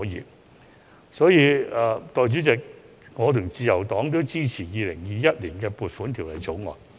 代理主席，基於上述原因，我及自由黨也會支持《2021年撥款條例草案》。